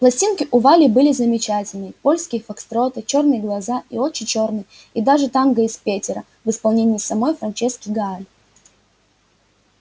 пластинки у вали были замечательные польские фокстроты чёрные глаза и очи чёрные и даже танго из петера в исполнении самой франчески гааль